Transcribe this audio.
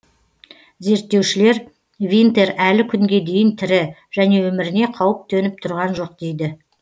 зерттеушілер винтер әлі күнге дейін тірі және өміріне қауіп төніп тұрған жоқ дейді